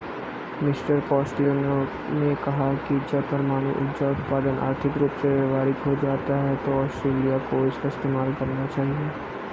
mister Costello ने कहा कि जब परमाणु ऊर्जा उत्पादन आर्थिक रूप से व्यावहारिक हो जाता है तो ऑस्ट्रेलिया को इसका इस्तेमाल करना चाहिए